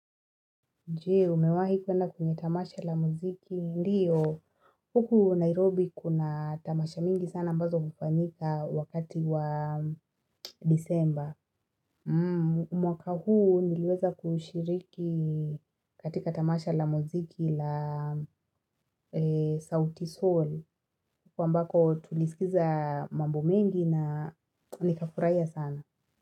Je, umewahi kuenda kwenye tamasha la muziki? Ndiyo Huku Nairobi kuna tamasha mingi sana ambazo hufanyika wakati wa disemba mwaka huu niliweza kushiriki katika tamasha la muziki la sauti Sol huko ambako tulisikiza mambo mengi na nikafurahia sana.